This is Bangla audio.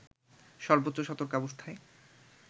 সর্বোচ্চ সতর্কাবস্থায়